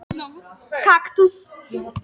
Á borðinu pennastatíf með nokkrum pennum.